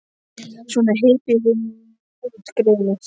Svona, hypjaðu þig nú út, greyið mitt.